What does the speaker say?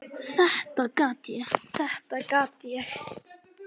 Þetta gat ég, þetta gat ég!